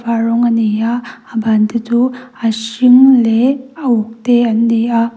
a rawng a nei a a ban te chu a hring leh a uk te an ni a.